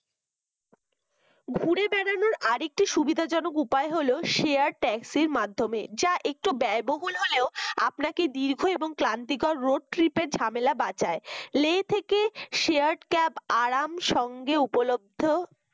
আরেকটি সুবিধাজনক উপায় হল share taxi মাধ্যমে যা একটু ব্যয়বহুল হলেও আপনাকে দীর্ঘ এবং ক্লান্তিকর road trip এর ঝামেলা বাচায় লে থেকে share cap আরাম সঙ্গে উপলব্ধ